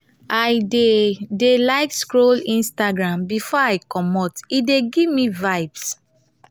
i dey dey like scroll instagram before i comot; e dey give me vibes.